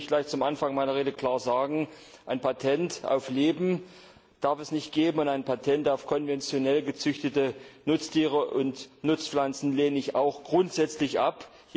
Lassen Sie mich zum Anfang meiner Rede klar sagen Ein Patent auf Leben darf es nicht geben, und ein Patent auf konventionell gezüchtete Nutztiere und Nutzpflanzen lehne ich auch grundsätzlich ab.